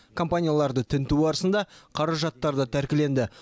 компанияларды тінту барысында қаражаттар да тәркіленді